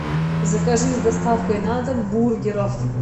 закажи с доставкой на дом бургеров